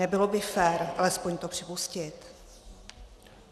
Nebylo by fér alespoň to připustit?